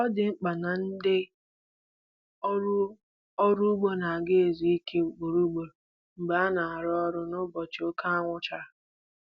Ọ dị mkpa na ndị ọrụ ọrụ ugbo ga na-ezu ike ugboro ugboro mgbe ha na-arụ n'ụbọchị oke anwụ chara